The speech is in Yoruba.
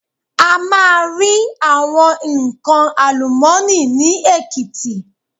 A máa rí àwọn nnkan àlùmọ́nì ni Èkìtì.